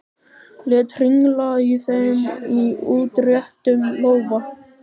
Lét hringla í þeim í útréttum lófa.